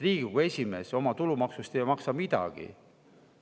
Riigikogu esimees oma tulumaksust ei maksa midagi.